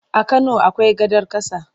A Kano akwai gadar ƙasa.